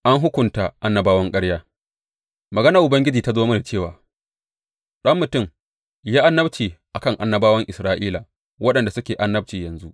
An hukunta annabawan ƙarya Maganar Ubangiji ta zo mini cewa, Ɗan mutum, yi annabci a kan annabawan Isra’ila waɗanda suke annabci yanzu.